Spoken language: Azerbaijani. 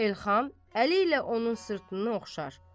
Elxan əli ilə onun sırtını oxşar.